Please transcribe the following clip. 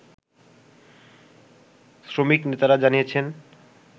শ্রমিক নেতারা জানিয়েছেন